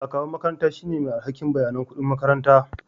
Akawun makaranta shine mai alhakin bayanan kuɗin makaranta